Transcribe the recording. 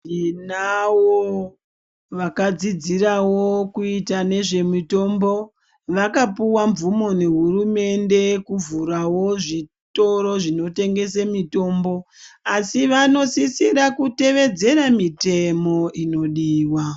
Tinawo vakadzidzirawo kuita nezvemitombo vakapuwa mvumo nehurumende kuvhurawo zvitoro zvinotengese mitombo asi vanosisira kutevedzera mitemo inodiwa.